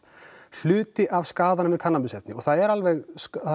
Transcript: hluti af skaðanum við kannabisefni og það eru alveg